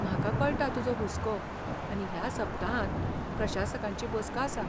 म्हाका कळटा तुजो हुस्को आनी ह्या सप्तांतांत प्रशासकांची बसका आसा.